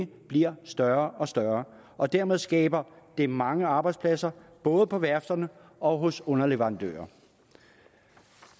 bliver større og større og dermed skaber det mange arbejdspladser både på værfterne og hos underleverandørerne